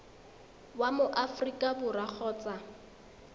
wa mo aforika borwa kgotsa